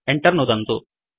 Enter नुदन्तु